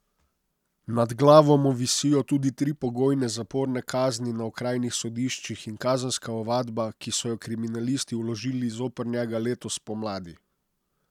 Nad glavo mu visijo tudi tri pogojne zaporne kazni na okrajnih sodiščih in kazenska ovadba, ki so jo kriminalisti vložili zoper njega letos spomladi.